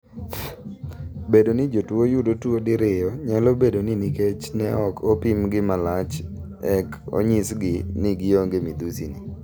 Bedo ni jotuo yudo tuo diriyo nyalo bedo ni nikech ne ok opimgi malach ek onyisgi ni gionge midhusini.